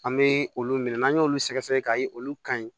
An bɛ olu minɛ n'an y'olu sɛgɛ sɛgɛ k'a ye olu ka ɲi